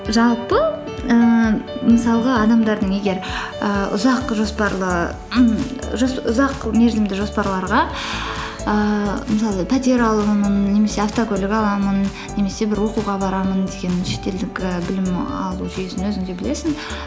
жалпы ііі мысалға адамдардың егер ііі ұзақ жоспарлы ұзақ мерзімді жоспарларға ііі мысалы пәтер аламын немесе автокөлік аламын немесе бір оқуға барамын деген шетелдік і білім алу жүйесін өзің де білесің